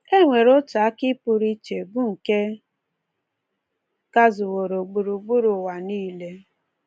E nwere otu akị pụrụ iche bụ nke gazuworo gburugburu ụwa niile.